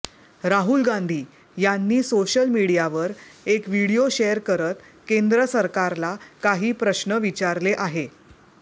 राहुल गांधी यांनी सोशल मीडियावर एक व्हिडीओ शेअर करत केंद्र सरकारला काही प्रश्न विचारले आहे